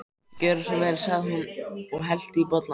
Gjörðu svo vel sagði hún og hellti í bollana.